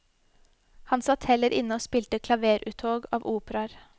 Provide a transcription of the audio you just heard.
Han satt heller inne og spilte klaveruttog av operaer.